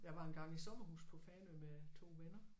Jeg var engang i sommerhus på Fanø med 2 venner